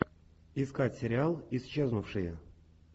искать сериал исчезнувшие